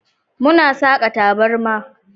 Muna saka taburma.